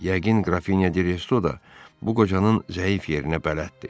Yəqin Qrafinya Direso da bu qocanın zəif yerinə bələddir.